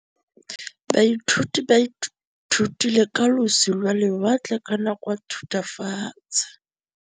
Baithuti ba ithutile ka losi lwa lewatle ka nako ya Thutafatshe.